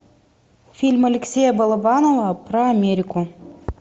фильм алексея балабанова про америку